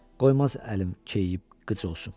Qoymaz əlim keyiyib qıc olsun.